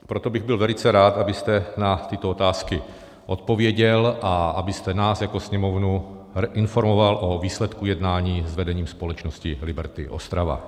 Proto bych byl velice rád, abyste na tyto otázky odpověděl a abyste nás jako Sněmovnu informoval o výsledku jednání s vedením společnosti Liberty Ostrava.